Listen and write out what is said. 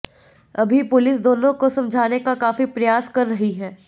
अभी पुलिस दोनों को समझाने का काफी प्रयास कर रही है